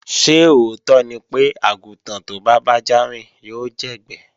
Ṣé òótọ́ ni pé, àgùntàn tó bá bájá rìn yóò jẹ́gbẹ́